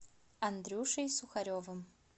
андрюшей сухаревым